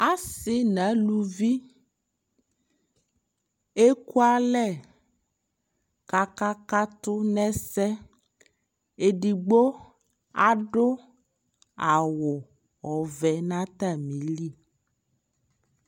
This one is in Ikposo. Asi na luvi ɛku alɛ kaka katu nɛ sɛƐdigbo adu awu ɔvɛ na ta mi li